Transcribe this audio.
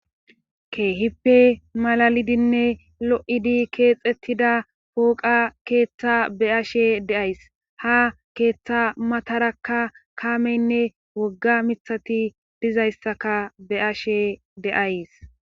Keehippe malalidinne lo,idi keexettida pooqa keeththa be ashe deays ha keeththa matarakka kaameynne wogga mithati dizayssaka be,ashe deays.